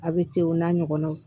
A bɛ ten o n'a ɲɔgɔnnaw